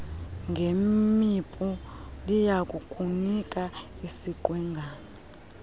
ngemipu liyakukunika isiqwengana